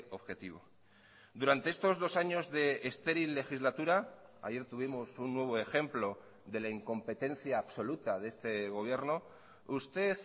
objetivo durante estos dos años de estéril legislatura ayer tuvimos un nuevo ejemplo de la incompetencia absoluta de este gobierno usted